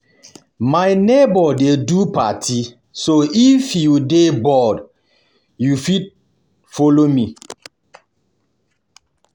My neighbor dey do party so if you dey bored you go fit follow me